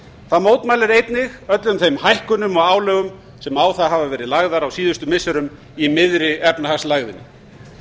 það mótmælir einnig öllum þeim hækkunum og álögum sem á það hafa verið lag á síðustu missirum í miðri efnahagslægðinni